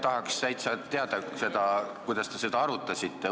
Tahaks täitsa teada seda, kuidas te seda arutasite.